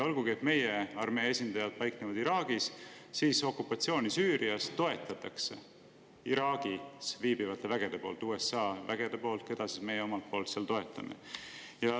Olgugi et meie armee esindajad paiknevad Iraagis, toetavad okupatsiooni Süürias Iraagis viibivad USA väed, keda siis meie omalt poolt seal toetame.